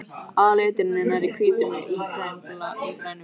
Aðalliturinn er nærri hvítur með ígrænum blæ.